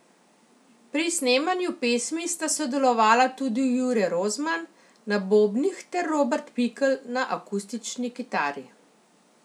Pri snemanju pesmi sta sodelovala tudi Jure Rozman na bobnih ter Robert Pikl na akustični kitari.